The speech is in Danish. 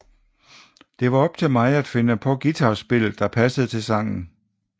Den var op til mig at finde på guitar spillet der passede til sangen